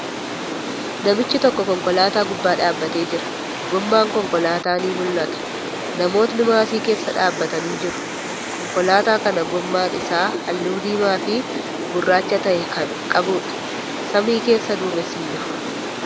Namichi tokko konkolaataa gubbaa dhaabbatee jira. Goomman konkolaataa ni mul'ata. Namootni maasii keessa dhaabbatanii jiru. Konkolaataa kana, goomman isaa haalluu diimaa fii gurraacha ta'e kan qabuudha. Samii keessa duumessi hin jiru.